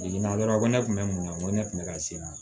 Jiginna dɔrɔn ne kun bɛ mun na n ko ne tun bɛ ka se